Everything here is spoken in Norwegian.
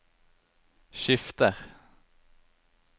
skifter